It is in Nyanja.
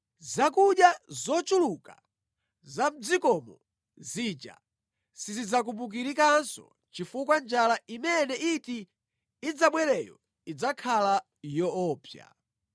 Zakudya zochuluka za mʼdzikomo zija sizidzakumbukirikanso chifukwa njala imene iti idzabwereyo idzakhala yoopsa.